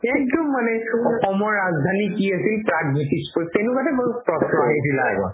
একদম মানে অসমৰ ৰাজধানী কি আছিল প্ৰাগজ্যোতিষপুৰ তেনেকুৱা type প্ৰশ্ন আহিছিলে আগত